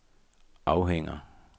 afhænger